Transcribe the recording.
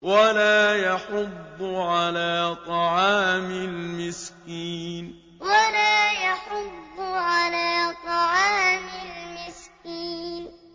وَلَا يَحُضُّ عَلَىٰ طَعَامِ الْمِسْكِينِ وَلَا يَحُضُّ عَلَىٰ طَعَامِ الْمِسْكِينِ